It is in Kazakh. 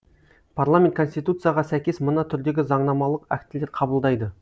парламент конституцияға сәйкес мына түрдегі заңнамалық актілер қабылдайды